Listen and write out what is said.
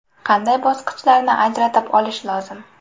Qanday bosqichlarni ajratib olish lozim?